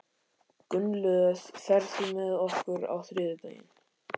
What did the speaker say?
Gunnlöð, ferð þú með okkur á þriðjudaginn?